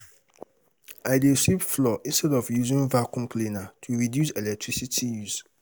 I dey sweep floor instead of using vacuum cleaner to reduce electricity use.